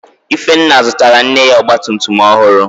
Ifenna zụtara nne ya Ọgba tum tum ọhụrụ